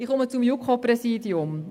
Ich komme zum JuKo-Präsidium.